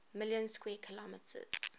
million square kilometers